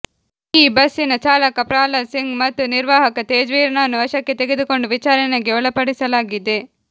ಈ ಬಸ್ಸಿನ ಚಾಲಕ ಪ್ರಹ್ಲಾದ್ ಸಿಂಗ್ ಮತ್ತು ನಿರ್ವಾಹಕ ತೇಜ್ವೀರ್ನನ್ನು ವಶಕ್ಕೆ ತೆಗೆದುಕೊಂಡು ವಿಚಾರಣೆಗೆ ಒಳಪಡಿಸಲಾಗಿದೆ